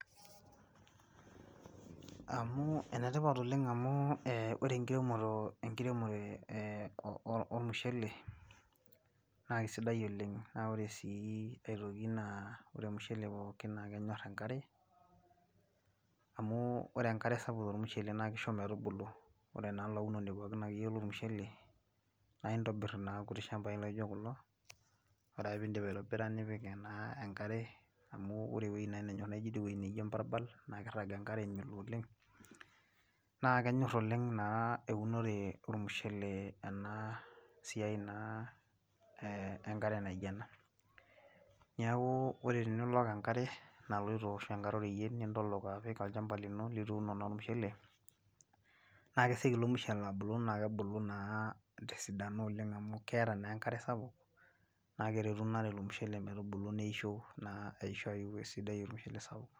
amu enetipat oleng amu ore enkiremore ormushele, na isidai oleng. naa ore sii aitoki ore ormushele pookin naakenyor enkare, amu ore enkare sapuk tormushele naa kisho metubulu. ore naa olaunoni akeyie pookin lormushele naa intobir naa irkuti shampai laijo kulo. ore naa pee idip aitobira, nipik ena enkare. amu ore ewueji nenyor naijo idie wueji naijo ebarbal. naa kirag enkare melo oleng. naa kenyor oleng naa eunore olmushele ena siia na enkare naijo ena. neku ore tenilok enkare naloito. ashu enkare oreyiet, nintolok enkare naloito nintolok olchampa lino lituuno naa ormushele, na kesioki ilo mushele abulu naa kebulu naa tesidano oleng amu keeta naa enkare sapuk, naa keretuu ina are ormushele metoisho naa aisho ayiu ormushele sapuk.